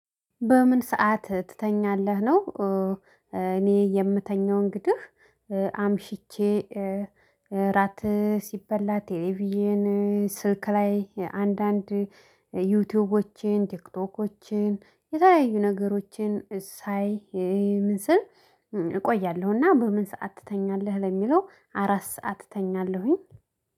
በምን ሰዓት ትተኛለህ? ነው እኔ የምተኛው እንግዲህ አምሽቼ እራት ስበላ ቴሌቪዥን ስልክ ላይ አንዳንድ ዩቲዩብዮችን ቲክቶኮችን የተለያዩ ነገሮችን ሳይ ምስል እቆያለሁና በምን ሰዓት ትተኛለህ? ለሚለው አራት ሰዓት እተኛለሁኝ